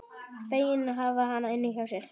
Feginn að hafa hana hjá sér.